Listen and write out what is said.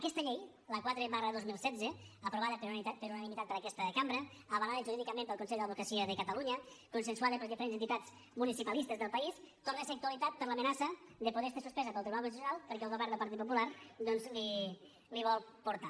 aquesta llei la quatre dos mil setze aprovada per unanimitat per aquesta cambra avalada jurídicament pel consell de l’advocacia de catalunya consensuada per les diferents entitats municipalistes del país torna a ser actualitat per l’amenaça de poder estar suspesa pel tribunal constitucional perquè el govern del partit popular doncs l’hi vol portar